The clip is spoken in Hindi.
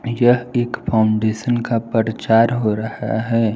यह एक फाउंडेशन का परचार हो रहा है।